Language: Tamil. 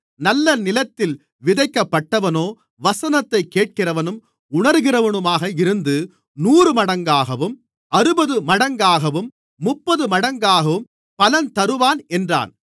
நல்ல நிலத்தில் விதைக்கப்பட்டவனோ வசனத்தைக் கேட்கிறவனும் உணருகிறவனுமாக இருந்து நூறுமடங்காகவும் அறுபதுமடங்காகவும் முப்பதுமடங்காகவும் பலன் தருவான் என்றார்